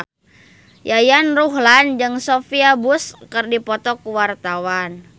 Yayan Ruhlan jeung Sophia Bush keur dipoto ku wartawan